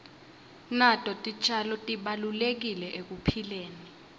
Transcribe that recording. nato titjalo tibalulekile ekuphileni